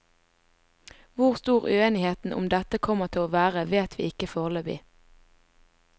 Hvor stor uenigheten om dette kommer til å være vet vi ikke foreløpig.